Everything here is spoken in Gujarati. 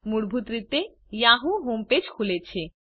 મૂળભૂત રીતે યાહૂ હોમ પેજ ખુલે છે